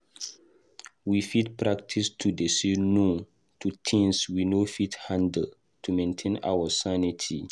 We fit practice to dey say "no" to things we no fit handle to maintain our sanity.